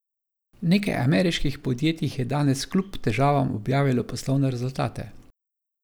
Nekaj ameriških podjetij je danes kljub težavam objavilo poslovne rezultate.